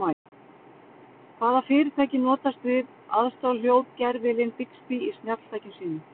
Hvaða fyrirtæki notast við aðstoðarhljóðgervilinn Bixby í snjalltækjum sínum?